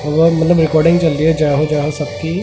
वहां मतलब रिकॉर्डिंग चल रही है जय हो जय हो सबकी--